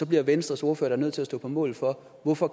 bliver venstres ordfører da nødt til at stå på mål for hvorfor